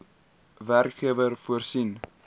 werkgewer voorsien